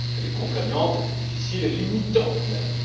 Elle est contraignante, difficile et limitante